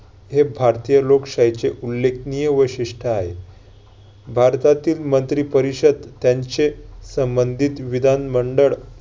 हे भारतीय लोकशाहीचे उल्लेखनीय वैशिष्ट्य आहे. भारतातील मंत्री परिषद त्यांचे संबंधीत विधान मंडळ